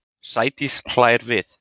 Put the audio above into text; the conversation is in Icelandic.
Sædís hlær við.